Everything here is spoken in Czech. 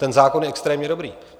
ten zákon je extrémně dobrý.